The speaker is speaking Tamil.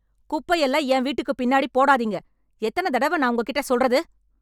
குப்பை எல்லாம் என் வீட்டுக்குப் பின்னாடி போடாதீங்க எத்தனத் தெடவ நான் உங்ககிட்ட சொல்றது?